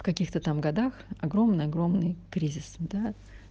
в каких-то там годах огромный огромный кризис да